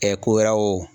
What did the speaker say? ko wɛrɛw